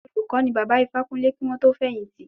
Olùkó ni Bàbá Ifákúnlé kí wọ́n tó fẹ̀yìn tì.